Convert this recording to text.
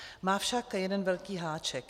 Má však jeden velký háček.